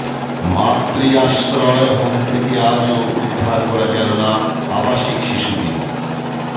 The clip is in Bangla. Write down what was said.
মাতৃ আশ্রয় হোম থেকে আজও উদ্ধার করা গেল না আবাসিক শিশুদের